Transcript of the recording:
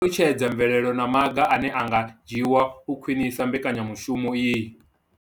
I ṱalutshedza mvelelo na maga ane a nga dzhiwa u khwinisa mbekanya mushumo iyi.